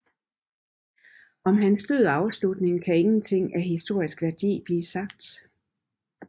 Om hans død og afslutning kan ingenting af historisk værdi blive sagt